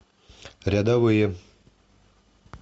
рядовые